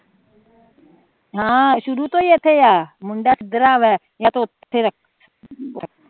ਅਹ ਸ਼ੁਰੂ ਤੋਂ ਈ ਇਥੇ ਆ